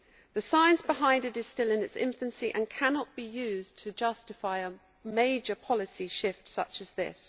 The science behind it is still in its infancy and cannot be used to justify a major policy shift such as this.